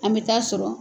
An bɛ taa sɔrɔ